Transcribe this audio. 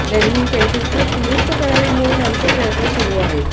त्यांनी त्यांची चुक दुरूस्त करावी म्हणून आमचे प्रयत्न सुरू आहेत